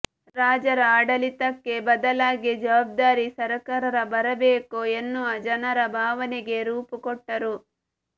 ರಾಜರ ಆಡಳಿತಕ್ಕೆ ಬದಲಾಗಿ ಜವಾಬ್ದಾರಿ ಸಕರ್ಾರ ಬರಬೇಕು ಎನ್ನುವ ಜನರ ಭಾವನೆಗೆ ರೂಪುಕೊಟ್ಟರು